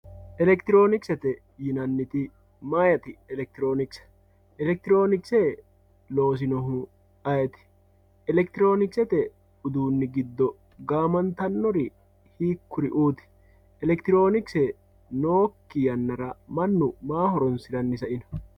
elektironikisete yinanni woyeete maati elektironikisete elektironikisete loosinohu ayiiti elektironikisete uduuni giddo gaamantannori hikkuri"uuti elektironikisete nookki yannara mannu maa horonsiranni sa"ino